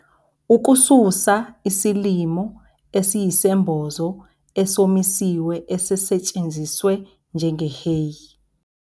Ukususa isilimo esiyisembozo esomisiwe esisetshenziswe njenge-hay.